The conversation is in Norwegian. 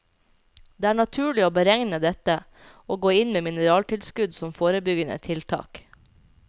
Det er naturlig å beregne dette, og gå inn med mineraltilskudd som forebyggende tiltak.